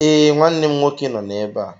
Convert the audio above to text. Ee, nwanne m nwoke nọ na-ébé a